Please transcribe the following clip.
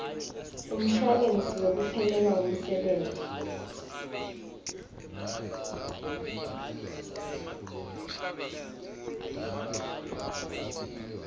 semshuwalensi wekuphelelwa ngumsebenti